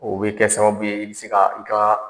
O bɛ kɛ sababu ye i bi se ka i ka